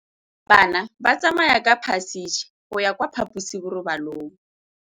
Bana ba tsamaya ka phašitshe go ya kwa phaposiborobalong.